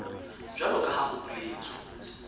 jwalo ka ha ho boletswe